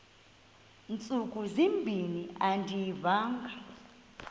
ntsuku zimbin andiyivanga